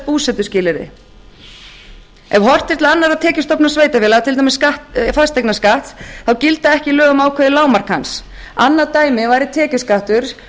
búsetuskilyrði ef horft er til annarra tekjustofna sveitarfélaga til dæmis fasteignaskatts þá gilda ekki lög um ákveðið lágmark hans annað dæmi væri tekjuskattur